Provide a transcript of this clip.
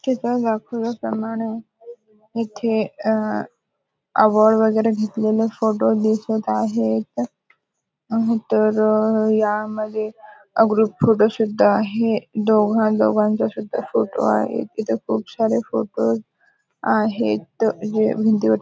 तिथं दाखवल्याप्रमाणे इथे अ अवॉर्ड वगैरे घेतलेले फोटो दिसत आहेत. नाहीतर यामध्ये ग्रुप फोटो सुद्धा आहे. दोघां दोघांचा सुद्धा फोटो आहे. इथे खूप सारे फोटोज आहेत. जे भिंतीवर --